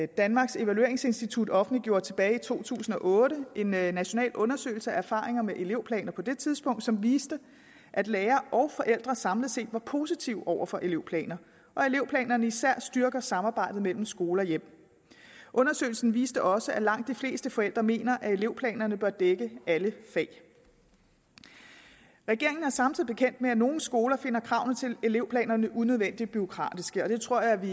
danmarks evalueringsinstitut offentliggjorde tilbage i to tusind og otte en national undersøgelse af erfaringer med elevplaner på det tidspunkt som viste at lærere og forældre samlet set var positive over for elevplaner og at elevplanerne især styrker samarbejdet mellem skole og hjem undersøgelsen viste også at langt de fleste forældre mener at elevplanerne bør dække alle fag regeringen er samtidig bekendt med at nogle skoler finder kravene til elevplanerne unødvendigt bureaukratiske og det tror jeg vi